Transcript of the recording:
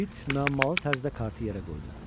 Uit müəmmalı tərzdə kartı yerə qoydu.